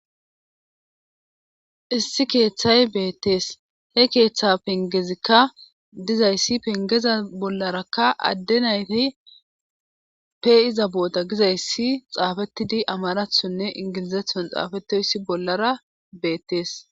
Issi keeththay beettees he keeththa pengezikka dizayssi pengeza bollarakka adde naytey peiza booda gizayssi xaafetidi amarathonne ingilizethon xaafetoyssi bollara beettees.